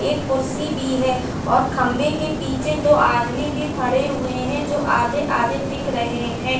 एक कुर्सी भी है और एक खम्भे के पीछे दो आदमी भी खड़े हुए हैं जो आधे-आधे दिख रहे हैं।